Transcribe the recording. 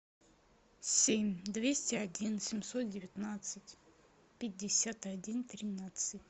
семь двести один семьсот девятнадцать пятьдесят один тринадцать